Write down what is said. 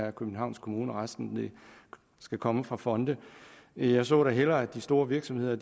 af københavns kommune resten skal komme fra fonde men jeg så da hellere at de store virksomheder